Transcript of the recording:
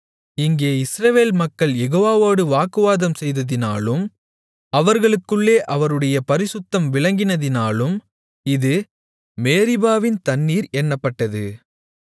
இங்கே இஸ்ரவேல் மக்கள் யேகோவாவோடு வாக்குவாதம் செய்ததினாலும் அவர்களுக்குள்ளே அவருடைய பரிசுத்தம் விளங்கினதினாலும் இது மேரிபாவின் தண்ணீர் என்னப்பட்டது